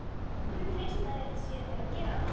Af hverju treysta þeir sér til að gera það?